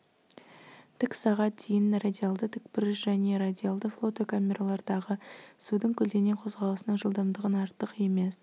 тік сағат дейін радиалды тікбұрыш және радиалды флотокамералардағы судың көлденең қозғалысының жылдамдығын артық емес